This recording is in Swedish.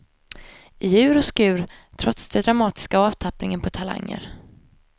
I ur och skur, trots det dramatiska avtappningen på talanger.